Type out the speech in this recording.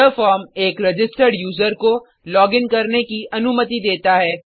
यह फॉर्म एक registered user को लॉगिन करने की अनुमति देता है